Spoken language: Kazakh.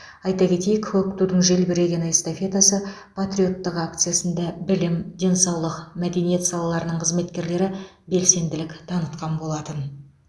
айта кетейік көк тудың желбірегені эстафетасы патриоттық акциясында білім денсаулық мәдениет салаларының қызметкерлері белсенділік танытқан болатын